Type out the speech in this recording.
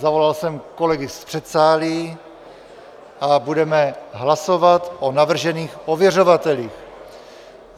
Zavolal jsem kolegy z předsálí a budeme hlasovat o navržených ověřovatelích.